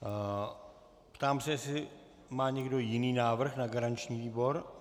Ptám se, jestli má někdo jiný návrh na garanční výbor?